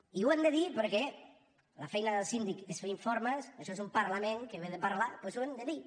i ho hem de dir perquè la feina del síndic és fer informes això és un parlament que ve de parlar doncs ho hem de dir